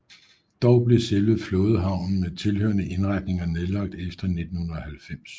Dog blev selve flådehavnen med tilhørende indretninger nedlagt efter 1990